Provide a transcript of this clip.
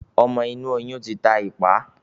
ọmọ inú oyun tí tá ipá.